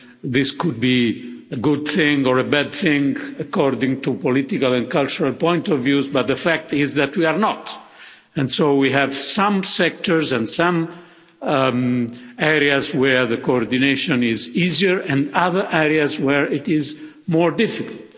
This could be a good thing or a bad thing, according to political and cultural points of view, but the fact is that we are not. So we have some sectors and some areas where the coordination is easier and others where it is more difficult.